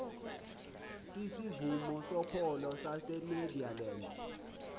sisivumo sokholo sasenederland